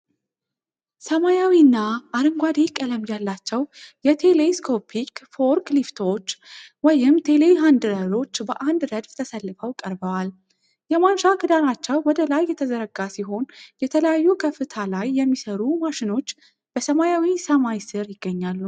ሰማያዊና አረንጓዴ ቀለም ያላቸው የቴሌስኮፒክ ፎርክሊፍቶች (ቴሌሀንድለሮች) በአንድ ረድፍ ተሰልፈው ቀርበዋል። የማንሻ ክንዳቸው ወደ ላይ የተዘረጋ ሲሆን፣ የተለያዩ ከፍታ ላይ የሚሰሩ ማሽኖች በሰማያዊ ሰማይ ስር ይገኛሉ።